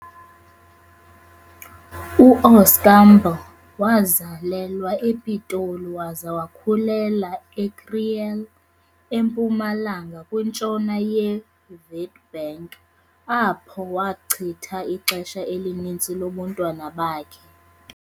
U-Oscar Mbo wazalelwa ePitoli waza wakhulela eKriel, eMpumalanga kwintshona ye-Witbank apho wachitha ixesha elininzi lobuntwana bakhe.